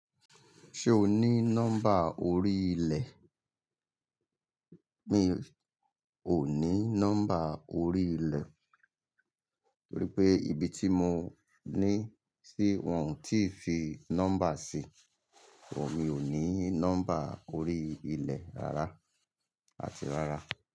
Ṣé o ní nọ́mbà orí ilẹ̀? Mi ò ní nọ́mbà orí ilẹ̀, torí pé ibi tí mo ní sí wọn ò tí fi nọ́mbà sí. Wò, mi ò ní nọ́mbà orí ilẹ̀ rárá àti rárá.